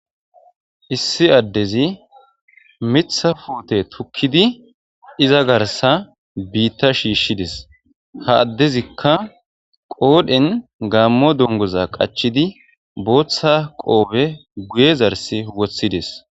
issi addezi mitha fuute tukkidi iza garsa biitta shiishshides ha addezikka qoodhen gaammo dongoza qachidi booththa qoobe guye zarsi woththides.